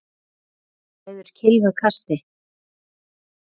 Eða ræður kylfa kasti?